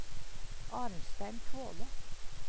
Arnstein Kvåle